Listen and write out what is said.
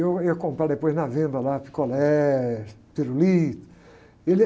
Eu ia comprar depois na venda lá, picolé, pirulito. E ele,